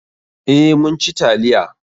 Eh, mun ci taliya.